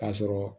K'a sɔrɔ